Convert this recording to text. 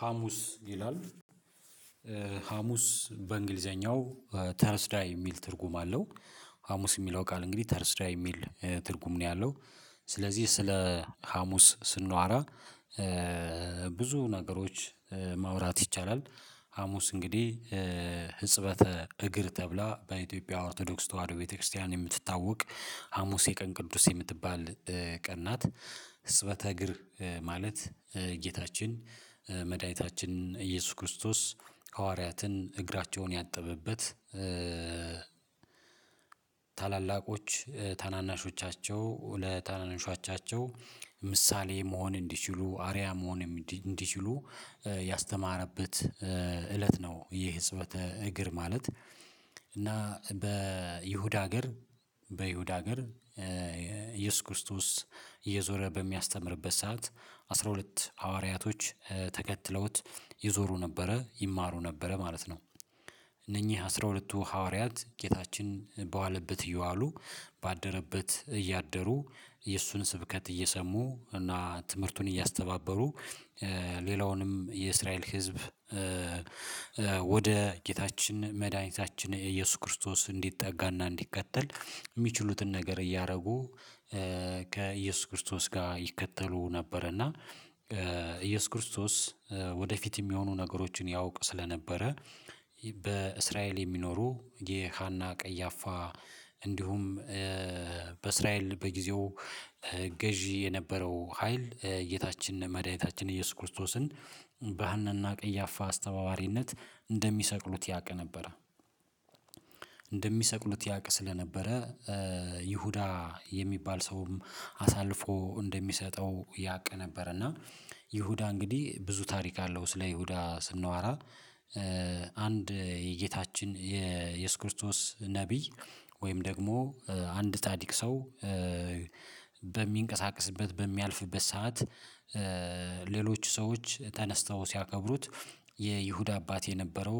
ሀሙስ ይላል። ሀሙስ በእንግሊዘኛው ተረስዳይ የሚል ትርጉም አለው፤። ሀሙስ የሚለው ቃል እንግዲህ ተርስዳይ የሚል ትርጉም ነው ያለው። ስለዚህ ስለ ሀሙስ ስንዋራ ብዙ ነገሮች ማውራት ይቻላል። ሀሙስ እንግዲህ ህጽበተ እግር ተብላ በኢትዮጵያ ኦርቶዶክስ ተዋህዶ ቤተክርስቲያን የምትታወቅ ሀሙስ የቀን ቅዱስ የምትባል ቀን ናት፤። ህጽበተ እግር ማለት ጌታችን መድኃኒታችን ኢየሱስ ክርስቶስ ሐዋርያትን እግራቸውን ያጠበበት ታላላቆች ታናናሾቻቸው ለታናናሾቻቸው ምሳሌ መሆን እንዲችሉ አርያ መሆን እንዲችሉ ያስተማረበት። እለት ነው ይህ ህጽበተ እግር ማለት። እና በይሁዳ ሀገር በይሁዳ ሀገር ኢየሱስ ክርስቶስ እየዞረ በሚያስተምርበት ሰዓት አስራ ሁለት ሐዋርያቶች ተከትለውት ይዞሩ ነበረ ይማሩ ነበረ ማለት ነው። እነኚህ አስራ ሁለቱ ሐዋርያት ጌታችን በዋለበት እየዋሉ ባደረበት እያደሩ የእሱን ስብከት እየሰሙ እና ትምህርቱን እያስተባበሩ ሌላውንም የእስራኤል ህዝብ። ወደ ጌታችን መድኃኒታችን ኢየሱስ ክርስቶስ እንዲጠጋና እንዲከተል የሚችሉትን ነገር እያደረጉ ከኢየሱስ ክርስቶስ ጋር ይከተሉ ነበር እና። ኢየሱስ ክርስቶስ ወደፊት የሚሆኑ ነገሮችን ያውቅ ስለነበረ በእስራኤል የሚኖሩ የሃና ቀያፋ እንዲሁም በእስራኤል በጊዜው ገዢ የነበረው ሀይል ጌታችን መድኃኒታችን ኢየሱስ ክርስቶስን በሃናና ቀያፋ አስተባባሪነት እንደሚሰቅሉት ያውቅ ነበረ። እንደሚሰቅሉት ያውቅ ስለነበረ ይሁዳ የሚባል ሰውም አሳልፎ እንደሚሰጠው ያቅ ነበረ። እና ይሁዳ እንግዲህ ብዙ ታሪክ አለው ስለ ይሁዳ ስናወራ። አንድ የጌታችን የኢየሱስ ክርስቶስ ነብይ ወይም ደግሞ አንድ ጻዲቅ ሰው በሚንቀሳቀስበት በሚያልፍበት ሰዓት ሌሎች ሰዎች ተነስተው ሲያከብሩት የይሁዳ አባት የነበረው